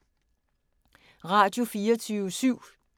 Radio24syv